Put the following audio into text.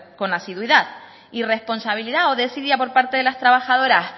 con asiduidad irresponsabilidad o desidia por parte de las trabajadoras